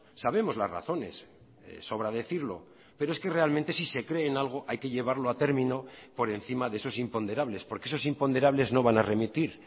sabemos las razones sobra decirlo pero es que realmente si se creen algo hay que llevarlo a término por encima de esos imponderables porque esos imponderables no van a remitir